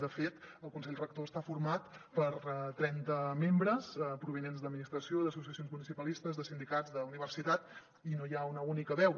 de fet el consell rector està format per trenta membres provinents d’administració d’associacions municipalistes de sindicats d’universitats i no hi ha una única veu